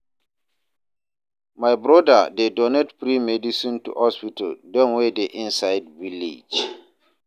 My broda dey donate free medicine to hospital dem wey dey inside village.